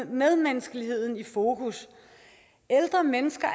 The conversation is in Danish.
medmenneskeligheden i fokus ældre mennesker